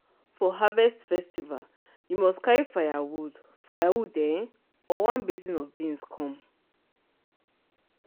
for harvest festival you must carry firewood firewood um or one basin of beans come.